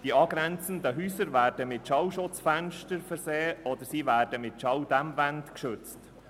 Die angrenzenden Häuser werden mit Schallschutzfenstern versehen oder mit Schalldämmwänden geschützt.